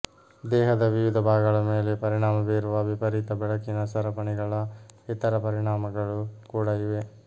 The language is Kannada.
ದೇಹದ ವಿವಿಧ ಭಾಗಗಳ ಮೇಲೆ ಪರಿಣಾಮ ಬೀರುವ ವಿಪರೀತ ಬೆಳಕಿನ ಸರಪಣಿಗಳ ಇತರ ಪರಿಣಾಮಗಳು ಕೂಡಾ ಇವೆ